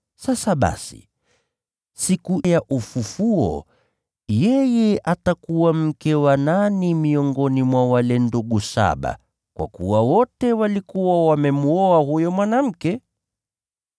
Sasa basi, siku ya ufufuo, yeye atakuwa mke wa nani miongoni mwa wale ndugu saba, kwa kuwa wote walikuwa wamemwoa huyo mwanamke?”